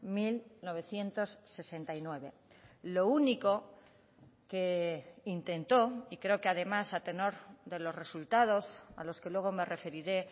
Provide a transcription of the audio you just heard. mil novecientos sesenta y nueve lo único que intentó y creo que además a tenor de los resultados a los que luego me referiré